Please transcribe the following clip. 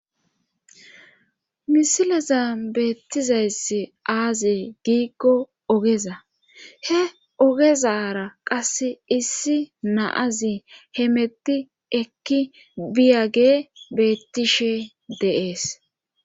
Misileza beettizayssi aazi giiggo ogeza he ogezara qasse issi naazi hemetti ekki biyage beettishe deees